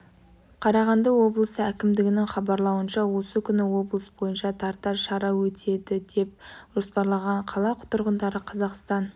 қарағанды облысы әкімдігінің хабарлауынша осы күні облыс бойынша тарта шара өтеді деп жоспарланған қала тұрғындары қазақстан